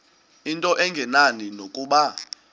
into engenani nokuba